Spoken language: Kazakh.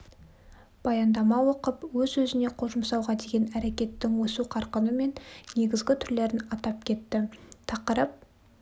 баяндама оқып өз-өзіне қол жұмсауға деген әрекеттің өсу қарқыны мен негізгі түрлерін атап кетті тақырып